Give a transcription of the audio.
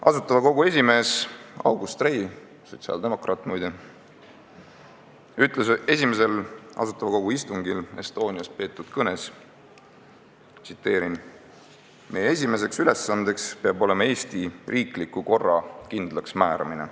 Asutava Kogu esimees August Rei – sotsiaaldemokraat, muide – ütles esimesel Asutava Kogu istungil Estonias peetud kõnes: "Meie esimeseks ülesandeks peab olema Eesti riikliku korra kindlaks määramine.